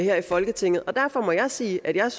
her i folketinget og derfor må jeg sige at jeg